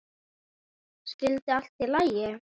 Skyldi allt í lagi?